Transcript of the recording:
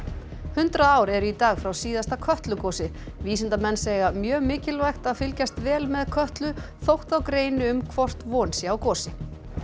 hundrað ár eru í dag frá síðasta Kötlugosi vísindamenn segja mjög mikilvægt að fylgjast vel með Kötlu þótt þá greini á um hvort von sé á gosi